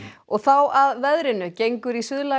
og þá að veðri gengur í